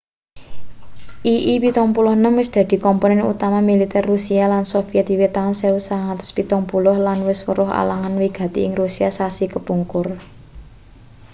ii-76 wis dadi komponen utama militer rusia lan soviet wiwit taun 1970 lan wis weruh alangan wigati ing rusia sasi kepungkur